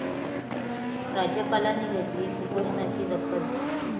राज्यपालांनी घेतली कुपोषणाची दखल